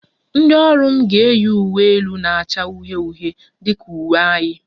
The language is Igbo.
Ndị ọrụ m ga-eyi uwe elu na-acha uhie uhie dị ka uwe anyị